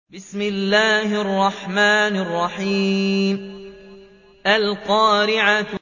الْقَارِعَةُ